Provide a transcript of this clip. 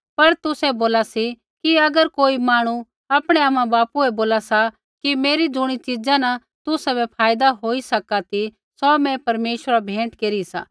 पर तुसै बोला सी कि अगर कोई मांहणु आपणै आमाबापू बै बोला सा कि मेरी ज़ुणी च़ीज़ा न तुसाबै फायदा होई सका ती सौ मैं परमेश्वरा बै भेंट केरी सा